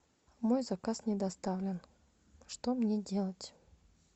мой заказ не доставлен что мне делать